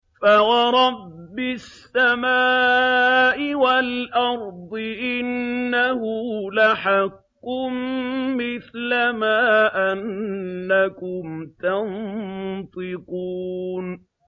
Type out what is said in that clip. فَوَرَبِّ السَّمَاءِ وَالْأَرْضِ إِنَّهُ لَحَقٌّ مِّثْلَ مَا أَنَّكُمْ تَنطِقُونَ